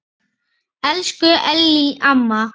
Elsku Ellý amma.